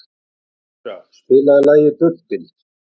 Indíra, spilaðu lagið „Bubbinn“.